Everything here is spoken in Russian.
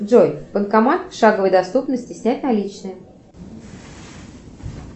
джой банкомат в шаговой доступности снять наличные